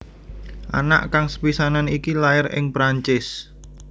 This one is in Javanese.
Anak kang sepisanan iki lair ing Perancis